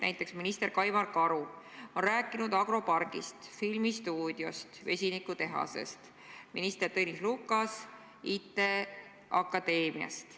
Näiteks minister Kaimar Karu on rääkinud agropargist, filmistuudiost, vesinikutehasest, minister Tõnis Lukas IT Akadeemiast.